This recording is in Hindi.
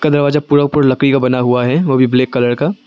दरवाजा पूरा का पूरा लकड़ी का बना हुआ है वह भी ब्लैक कलर का।